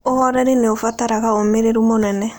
Ũhooreri nĩ ũbataraga ũmĩrĩru mũnene.